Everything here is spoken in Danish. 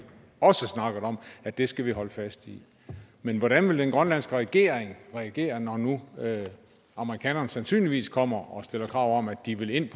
også snakket om at vi skal holde fast i men hvordan vil den grønlandske regering reagere når nu amerikanerne sandsynligvis kommer og stiller krav om at de vil ind